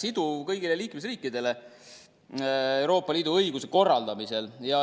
siduv kõigile liikmesriikidele Euroopa Liidu õiguse korraldamisel.